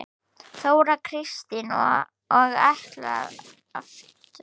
Þóra Kristín: Og ætlarðu aftur?